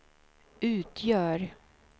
utgör